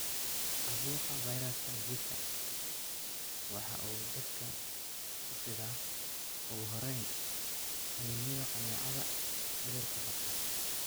Caabuqa fayraska Zika waxa uu dadka ku fidaa ugu horreyn qaniinyada kaneecada cudurka qabta.